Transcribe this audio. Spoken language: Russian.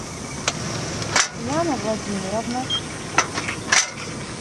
яна владимировна